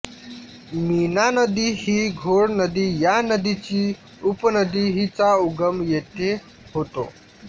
मीना नदी ही घोड नदी या नदीची उपनदी हिचा उगम येथे होतो